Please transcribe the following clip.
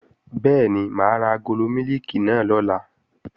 Bẹ́ẹ̀ni, mà á ra agolo mílìkì náà lọ̀la